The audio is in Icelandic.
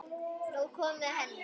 Nú er komið að henni.